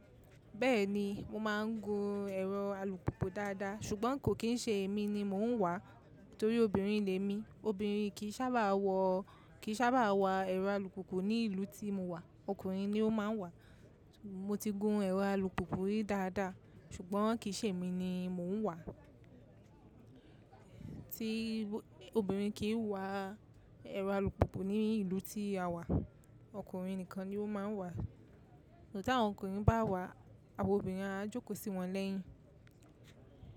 Bẹ́ẹ̀ni, mo máa ń gun ẹ̀rọ alùpùpù dáadáa, ṣùgbọ́n kò kì í ṣe èmi ni mò ń wàa, nitorí obìnrin lè mi. Obìnrin kì í sábà wọ̀, kì í sábà wà ẹrọ alùpùpù ní ìlú tí mo wà. Ọkùnrin ni ó máa ń wà á. Mo ti gun ẹ̀rọ alùpùpù yìí dáadáa, ṣùgbọ́n kì í ṣe èmi ni mò ń wà á. Tí obìnrin kì í wà ẹrọ alùpùpù ní ìlú tí a wà, ọkùnrin nìkan ni ó máa ń wà á. Tí àwọn ọkùnrin bá wà, àwa obìnrin á jókòó sí wọn lẹ́yìn.